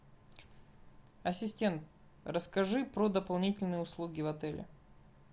ассистент расскажи про дополнительные услуги в отеле